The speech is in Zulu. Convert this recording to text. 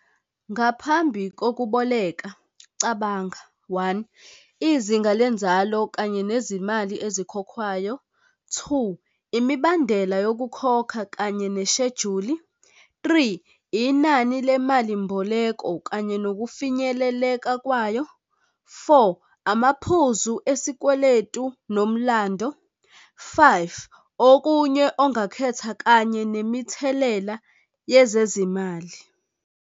Ngaphambi kokuboleke. Cabanga one, izinga lenzalo kanye nezimali ezikhokhwayo. Two, imibandela yokukhokha kanye neshejuli. Three, inani lemali mboleko kanye nokufinyeleleka kwayo. Four, amaphuzu esikweletu nomlando. Five, okunye ongakhetha kanye nemithelela yezezimali.